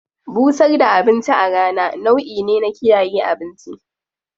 Busar da abinci a rana nau'i ne na kiyaye abinci.